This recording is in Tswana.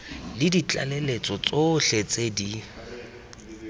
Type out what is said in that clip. le ditlaleletso tsotlhe tse di